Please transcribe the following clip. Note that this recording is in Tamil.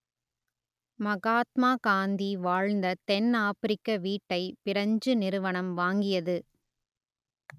மகாத்மா காந்தி வாழ்ந்த தென்னாப்பிரிக்க வீட்டை பிரெஞ்சு நிறுவனம் வாங்கியது